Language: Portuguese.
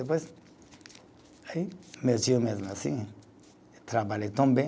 Depois, aí, meu tio mesmo assim, trabalhei tão bem.